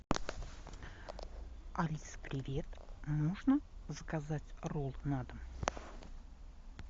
алиса привет нужно заказать ролы на дом